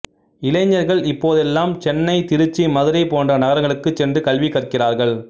இளைஞர்கள் இப்போதெல்லாம் சென்னை திருச்சி மதுரை போன்ற நகரங்களுக்குச் சென்று கல்வி கற்கிறார்கள்